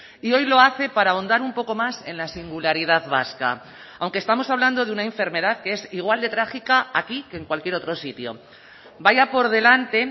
y hoy lo hace para ahondar un poco más en la singularidad vasca aunque estamos hablando de una enfermedad que es igual de trágica aquí que en cualquier otro sitio vaya por delante